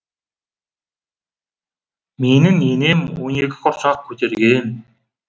менің енем он екі құрсақ көтерген